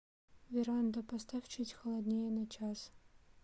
веранда поставь чуть холоднее на час